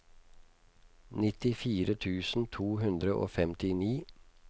nittifire tusen to hundre og femtini